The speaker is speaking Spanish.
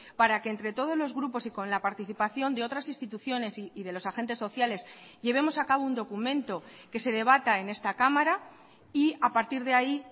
para que entre todos los grupos y con la participación de otras instituciones y de los agentes sociales llevemos a cabo un documento que se debata en esta cámara y a partir de ahí